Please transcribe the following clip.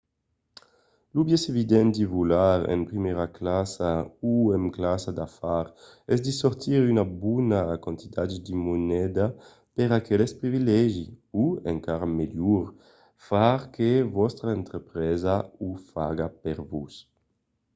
lo biais evident de volar en primièra classa o en classa d'afars es de sortir una bona quantitat de moneda per aqueste privilegi o encara melhor far que vòstra entrepresa o faga per vos